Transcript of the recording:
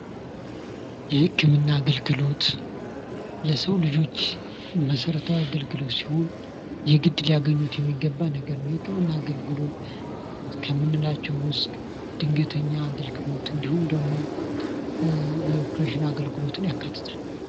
የህክምና አገልግሎት ለሰው ልጆች መሰረታዊ አገልግሎት ሲሆን የግድ ሊያገኙት የሚገና ነገር ነው። የህክምና አገልግሎት ከምንላቸው ውስጥ ድንገተኛ አገልግሎት እንዲሁም ደግሞ የኦፐሬሽን አገልግሎትን ያካትታል።